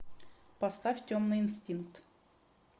поставь темный инстинкт